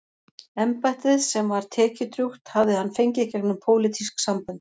Embættið, sem var tekjudrjúgt, hafði hann fengið gegnum pólitísk sambönd.